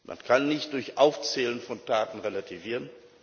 Man kann nicht durch Aufzählen von Taten relativieren.